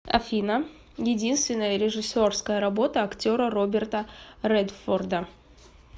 афина единственная режиссерская работа актера роберта редфорда